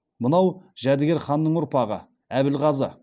мынау жәдігер ханның ұрпағы әбілғазы